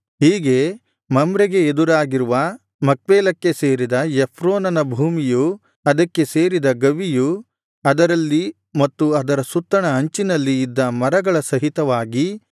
ಹೀಗೆ ಮಮ್ರೆಗೆ ಎದುರಾಗಿರುವ ಮಕ್ಪೇಲಕ್ಕೆ ಸೇರಿದ ಎಫ್ರೋನನ ಭೂಮಿಯು ಅದಕ್ಕೆ ಸೇರಿದ ಗವಿಯು ಅದರಲ್ಲಿ ಮತ್ತು ಅದರ ಸುತ್ತಣ ಅಂಚಿನಲ್ಲಿ ಇದ್ದ ಮರಗಳ ಸಹಿತವಾಗಿ